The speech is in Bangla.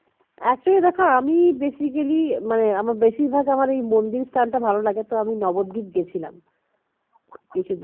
actually দেখো আমি basically মানে আমার বেশিরভাগ আমার এই মন্দিরটা স্থান টা ভালো লাগে তো আমি নবদ্বীপ গেছিলাম কিছুদিন আগে